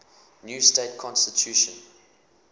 new state constitution